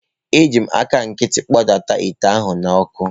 Eji m aka nkịtị kpọdata ite ahụ n’ọkụ.